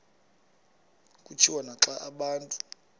kutshiwo naxa abantu